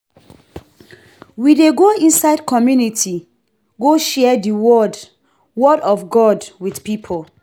We dey go inside community go share di word word of God wit pipo.